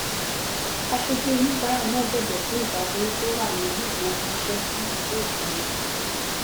asoju onibaara náà bẹbẹ fún ìdádúró tó wà lórí ifowóránṣẹ si ìlú òkèèrè rẹ